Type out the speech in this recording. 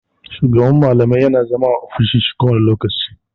Shugaban malamai yana zama a ofishin shi kowane lokaci.